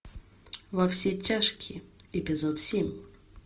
во все тяжкие эпизод семь